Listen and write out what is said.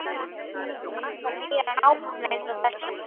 Margar nýjar, nákvæmlega eins og þessa.